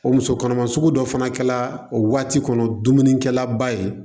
O muso kɔnɔma sugu dɔ fana kɛla o waati kɔnɔ dumunikɛla ba ye